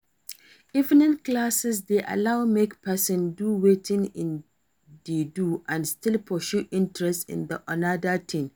Evening classes de allow make persin do wetin in de do and still pursue interest in another thing